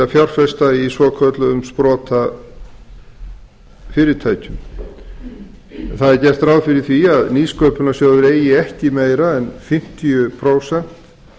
að fjárfesta í svokölluðum sprotafyrirtækjum það er gert ráð fyrir því að nýsköpunarsjóður eigi ekki meira en fimmtíu prósent